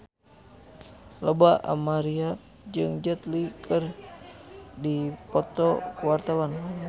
Lola Amaria jeung Jet Li keur dipoto ku wartawan